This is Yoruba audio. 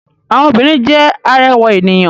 Àwọn obìrin jẹ́ arẹwà ènìyàn.